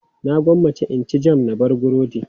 Na gwammace in ci jam na da burodi.